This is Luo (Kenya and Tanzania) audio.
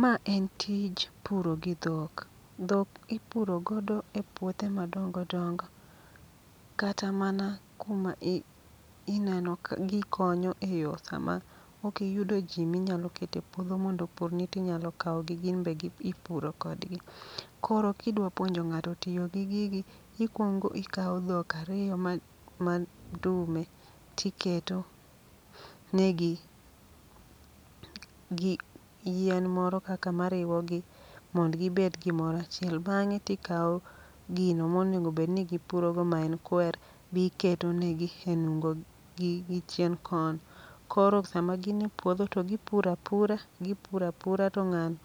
Ma en tij puro gi dhok, dhok ipuro godo e puothe madongo dongo. Kata mana kuma i ineno ka gikonyo e yo sama okiyudo ji minyalokete puodho mondo opurni tinyalo kawogi gin be ipuro kodgi. Koro kidwa puonjo ng'ato tiyo gi gigi, ikwongo ikawo dhok ariyo man mag dume tiketo ne gi gi yieno moro kaka mariwogi mond gibed gimorachiel. Bang'e tikawo gino monegobedni gipurogo maen kwer be iketonegi e nungo gi gichien koni. Koro sama gin e puodho to gipura pura, gipura pura to ng'ano